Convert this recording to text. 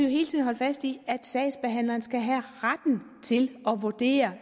hele tiden holde fast i at sagsbehandleren skal have retten til at vurdere